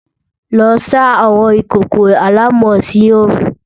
Lọ sá àwọn ìkòkò àlámọ̀ sí oòrùn!